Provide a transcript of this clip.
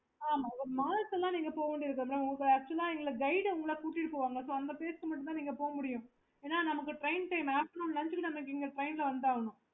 okay